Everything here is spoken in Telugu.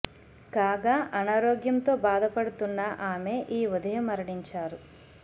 కాగా అనారోగ్యం తో భాద పడుతున్న ఆమె ఈ ఉదయం మరణించారు